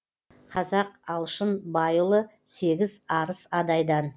қазақ алшын байұлы сегіз арыс адайдан